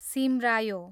सिमरायो